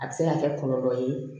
A bɛ se ka kɛ kɔlɔlɔ ye